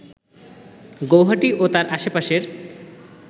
গৌহাটি ও তার আশেপাশের